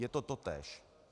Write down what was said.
Je to totéž.